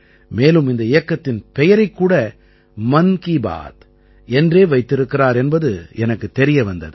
மேலும் இந்த இயக்கத்தின் பெயரைக் கூட மன் கீ பாத் என்றே வைத்திருக்கிறார் என்பது எனக்குத் தெரிய வந்தது